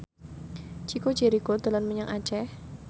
Chico Jericho dolan menyang Aceh